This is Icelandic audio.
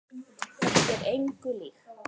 Þetta er engu líkt.